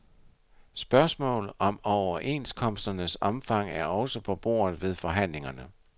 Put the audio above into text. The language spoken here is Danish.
Spørgsmålet om overenskomsternes omfang er også på bordet ved forhandlingerne.